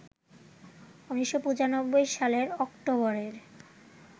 ১৯৯৫ সালের অক্টোবরের